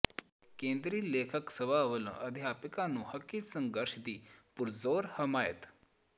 ਕੇਂਦਰੀ ਲੇਖਕ ਸਭਾ ਵੱਲੋਂ ਅਧਿਆਪਕਾਂ ਦੇ ਹੱਕੀ ਸੰਘਰਸ਼ ਦੀ ਪੁਰਜ਼ੋਰ ਹਮਾਇਤ